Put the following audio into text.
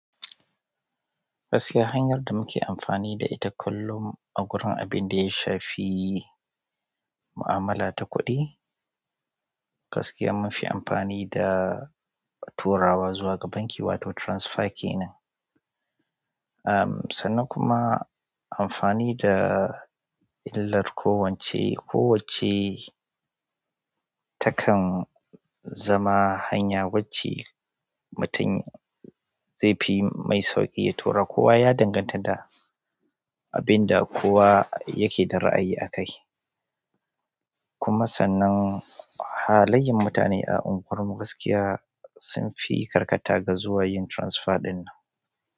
Gaskiya hanyar da muke amfani da ita kullum a gurin abin da ya shafi mu'amala ta kuɗi gaskiya munfi amfani da turawa zuwa ga banki wato transfer kenen. Ah, sannan kuma amfani da illar kowacce, kowacce takan zama hanya wacce mutum zai fi mai sauƙi ya tura. Kowa ya danganta da abin da kowa yake da ra'ayi akai. Kuma sannan halayen mutane a unguwarmu gaskiya sun fi karkata ga zuwa yin transfer ɗinnan.